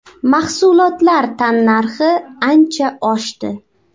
Mahsulotlar tannarxi ancha oshdi.